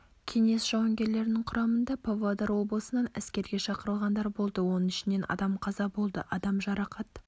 кеңес жауынгерлерінің құрамында павлодар облысынан әскерге шақырылғандар болды оның ішінен адам қаза болды адам жарақат